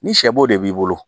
Ni sɛ bo de b'i bolo